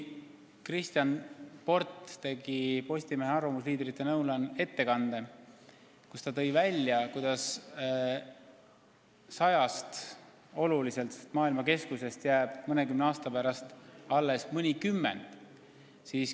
Kristjan Port tegi Postimehe arvamusliidrite lõunal ettekande, kus ta ütles, et sajast olulisest maailma keskusest on mõnekümne aasta pärast alles jäänud mõnikümmend.